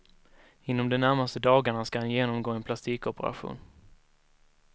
Inom de närmaste dagarna ska han genomgå en plastikoperation.